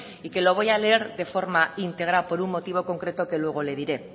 y que lo voy a leer de forma íntegra por un motivo concreto que luego le diré